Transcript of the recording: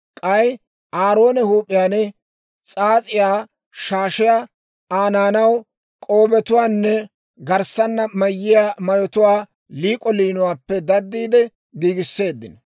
K'ay Aaroone huup'iyaan s'aas'iyaa shaashiyaa, Aa naanaw k'oobetuwaanne garssana mayiyaa mayotuwaa liik'o liinuwaappe daddiide giigisseeddino.